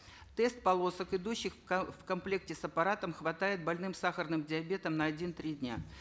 тест полосок идущих в в комплекте с аппаратом хватает больным сахарным диабетом на один три дня